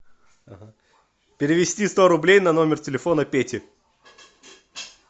перевести сто рублей на номер телефона пети